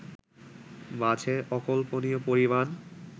মাঝে অকল্পনীয় পরিমাণ